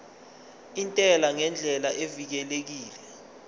intela ngendlela evikelekile